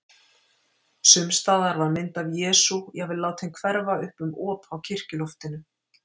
Sums staðar var mynd af Jesú jafnvel látin hverfa upp um op á kirkjuloftinu.